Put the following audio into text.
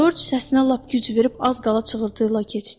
Corc səsinə lap güc verib az qala çığırıltıya keçdi.